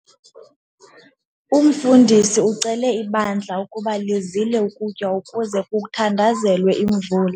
Umfundisi ucele ibandla ukuba lizile ukutya ukuze kuthandazelwe imvula.